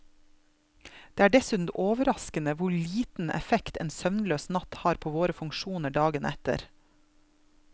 Det er dessuten overraskende hvor liten effekt en søvnløs natt har på våre funksjoner dagen etter.